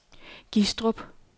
Gistrup